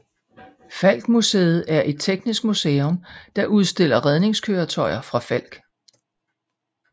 Falck Museet er et teknisk museum der udstiller redningskøretøjer fra Falck